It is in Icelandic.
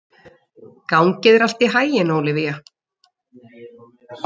Gangi þér allt í haginn, Ólivía.